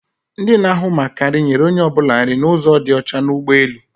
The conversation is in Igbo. Ndi na-áhụ̀ maka nri, nyere onye ọbụla nri n'ụzo dị ọcha n'ụgbọelu